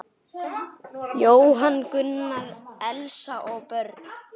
Jóhann Gunnar, Elsa og börn.